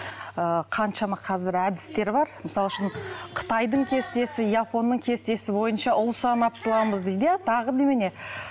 ыыы қаншама қазір әдістер бар мысалы үшін қытайдың кестесі японның кестесі бойынша ұл санап туамыз дейді иә тағы немене